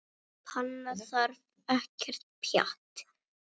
Svona panna þarf ekkert pjatt.